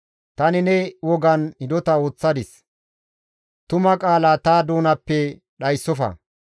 Tani ne wogan hidota ooththadis; tuma qaala ta doonappe dhayssofa.